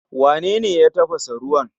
Wanene ya tafasa ruwan?